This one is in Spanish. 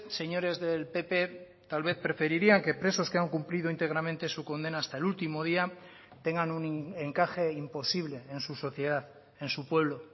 señores del pp tal vez preferirían que presos que han cumplido íntegramente su condena hasta el último día tengan un encaje imposible en su sociedad en su pueblo